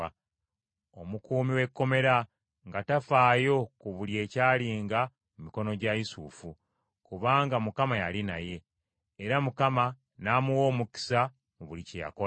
Omukuumi w’ekkomera nga tafaayo ku buli ekyalinga mu mikono gya Yusufu, kubanga Mukama yali naye, era Mukama n’amuwa omukisa mu buli kye yakolanga.